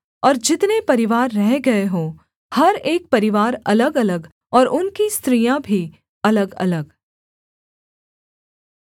और जितने परिवार रह गए हों हर एक परिवार अलग अलग और उनकी स्त्रियाँ भी अलगअलग